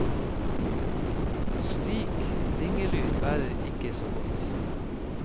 Slik ringelyd bærer ikke så godt.